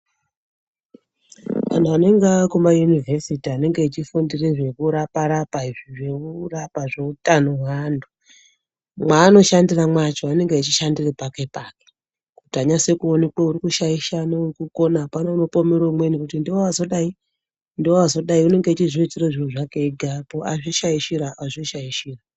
Anhu anenge akuma yunivhesiti anenge echi fundire zveku rapa rapa izvi zveku rapa zve utano hwe antu mwa ano shandira mwacho anenge echi shandira pake pake kuti anyase ku onekwe uri kushaisha ne uri kukona apana ano pomera umweni kuti ndiwe wazodai ndiwe wazodai unenge echizvi itira zviro zvakwe ega po azvi shaishira azvi shaishira.